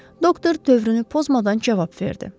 Doktor dövrünü pozmadan cavab verdi.